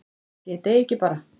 Ætli ég deyi ekki bara?